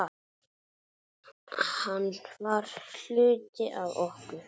Hann var hluti af okkur.